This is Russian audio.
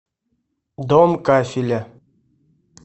дом кафеля